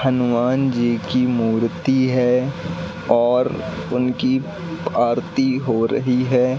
हनुमान जी की मूर्ति है और उनकी आरती हो रही है।